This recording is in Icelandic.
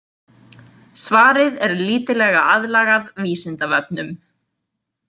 Svarið er lítillega aðlagað Vísindavefnum.